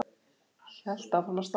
Hélt áfram að stara á hann.